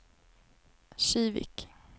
Kivik